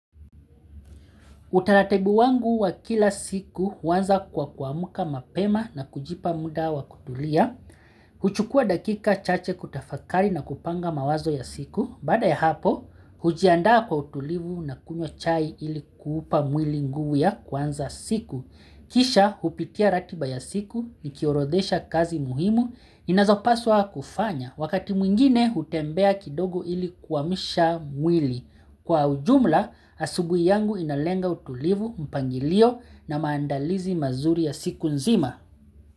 Utaratibu wangu wa kila siku huanza kwa kuamuka mapema na kujipa muda wa kutulia. Huchukua dakika chache kutafakari na kupanga mawazo ya siku. Baada ya hapo, hujiandaa kwa utulivu na kunywa chai ili kuupa mwili nguvu ya kuanza siku. Kisha, hupitia ratiba ya siku, nikihorodhesha kazi muhimu, inazopaswa kufanya. Wakati mwingine, hutembea kidogo ili kuamusha mwili. Kwa ujumla, asubuhi yangu inalenga utulivu mpangilio na maandalizi mazuri ya siku nzima.